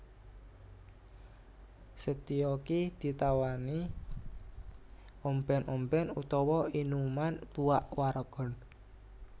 Setyaki ditawani ombèn ombèn utawa inuman tuak waragan